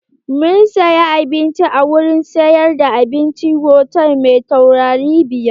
Mun saya abincin a wurin sayar da abincin hotal mai taurari biyar.